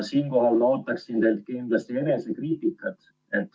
Siinkohal ootaksin teilt kindlasti enesekriitikat.